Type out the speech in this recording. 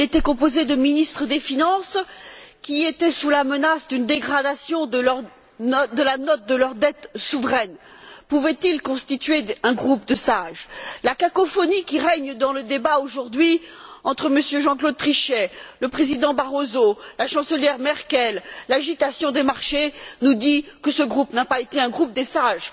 Il était composé de ministres des finances qui étaient sous la menace d'une dégradation de la note de leur dette souveraine. Pouvaient ils constituer un groupe de sages? La cacophonie qui règne dans le débat aujourd'hui entre M. Jean Claude Trichet, le président Barroso et la chancelière Merkel, de même que l'agitation des marchés, nous dit que ce groupe n'a pas été un groupe des sages.